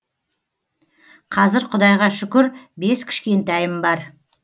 қазір құдайға шүкір бес кішкентайым бар